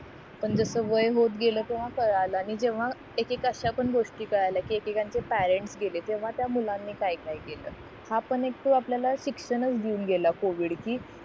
पण जस वय होत गेलं तेव्हा कळलं जेव्हा एक एक गोष्टी कळल्या कि एक एकाचे पेरेंट्स गेले तेव्हा त्या मुलांनी काय काय केलं हां पण तो आपल्याला शिक्षणच देऊन गेला covid कि